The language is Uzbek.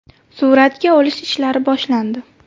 Suratga olish ishlari boshlandi.